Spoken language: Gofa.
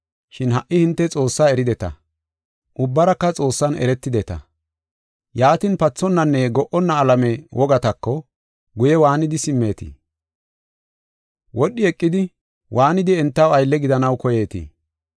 Shin ha77i hinte Xoossaa erideta; ubbaraka Xoossan eretideta. Yaatin pathonnanne go77onna alame wogatako guye waanidi simmetii? Wodhi eqidi, waanidi entaw aylle gidanaw koyeetii?